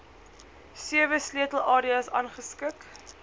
sewe sleutelareas gerangskik